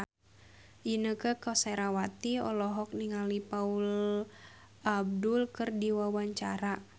Inneke Koesherawati olohok ningali Paula Abdul keur diwawancara